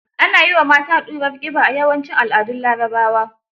Ana yi wa mata ɗurar ƙiba, a yawancin al'adun Larabawa.